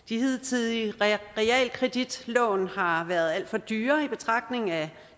de hidtidige realkreditlån har været alt for dyre i betragtning af